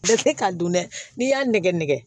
ka dun dɛ n'i y'a nɛgɛnɛgɛ nɛgɛn